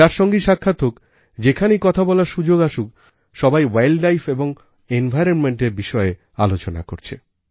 যার সঙ্গেই সাক্ষাৎ হোকযেখানেই কথা বলার সুযোগ আসুক সবাইwildlifeও environmentএর বিষয়ে আলোচনা করছে